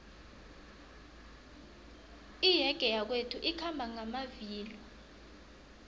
iyege yakwethu ikhamba ngamavilo